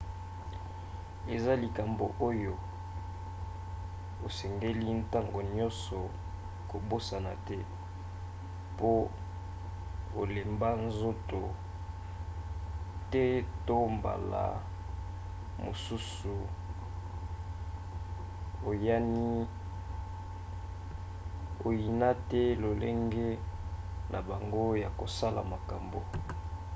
eza likambo oyo osengeli ntango nyonso kobosana te po olemba nzoto te to mbala mosusu oyina te lolenge na bango ya kosala makambo